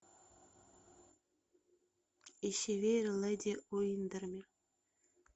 ищи веер леди уиндермир